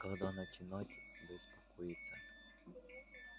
когда начинать беспокоиться